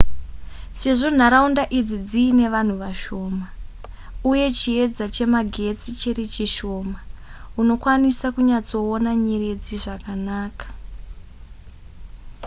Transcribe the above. sezvo nharaunda idzi dziine vanhu vashoma uye chiedza chemagetsi chiri chishoma unokwanisa kunyatsoona nyeredzi zvakanaka